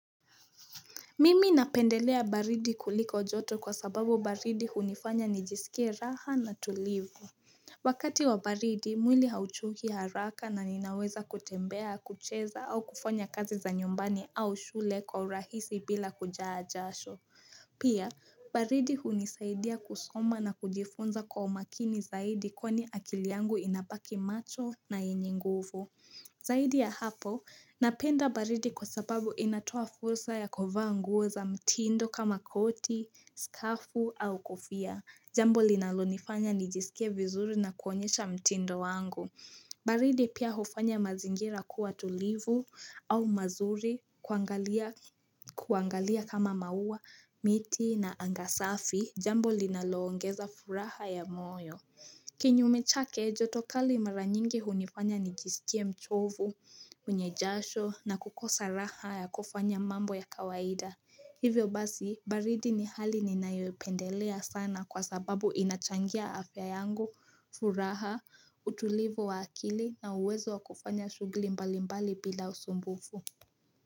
Mimi napendelea baridi kuliko joto kwa sababu baridi hunifanya nijisikie raha na tulivu. Wakati wa baridi, mwili hauchoki haraka na ninaweza kutembea, kucheza au kufanya kazi za nyumbani au shule kwa urahisi bila kujaa jasho. Pia, baridi hunisaidia kusoma na kujifunza kwa umakini zaidi kwani akili yangu inabaki macho na yenye nguvu. Zaidi ya hapo, napenda baridi kwa sababu inatoa fursa ya kuvaa nguo za mtindo kama koti, skafu au kofia. Jambo linalonifanya nijisikie vizuri na kuonyesha mtindo wangu. Baridi pia hufanya mazingira kuwa tulivu au mazuri kuangalia kama maua, miti na anga safi. Jambo linaloongeza furaha ya moyo. Kinyume chake, joto kali mara nyingi hunifanya nijisikie mchovu, wenye jasho na kukosa raha ya kufanya mambo ya kawaida Hivyo basi, baridi ni hali ninayopendelea sana kwa sababu inachangia afya yangu, furaha, utulivu wa akili na uwezo wa kufanya shughuli mbali mbali bila usumbufu.